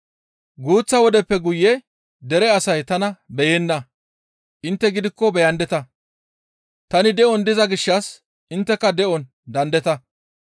Guuththa wodeppe guye dere asay tana beyenna; intte gidikko beyandeta; tani de7on diza gishshas intteka de7on daandeta.